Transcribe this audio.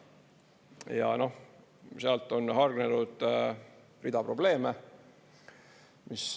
Ja sealt on hargnenud rida probleeme.